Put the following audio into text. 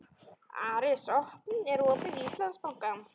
Aris, er opið í Íslandsbanka?